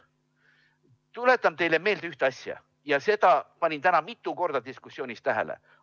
Tuletan teile meelde ühte asja, panin seda täna mitu korda diskussioonis tähele.